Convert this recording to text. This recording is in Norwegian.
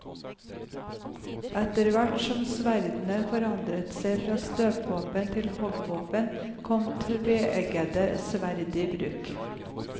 Etter hvert som sverdene forandret seg fra støtvåpen til hoggvåpen, kom tveeggede sverd i bruk.